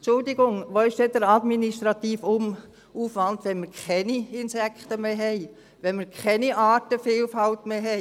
Entschuldigung, wo ist denn der administrative Aufwand, wenn wir keine Insekten mehr haben, wenn wir keine Artenvielfalt mehr haben?